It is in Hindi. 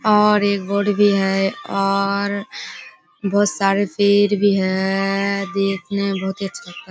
और एक बोर्ड भी है और बहोत सारे पेड़ भी हैं देखने में बहोत ही अच्छा --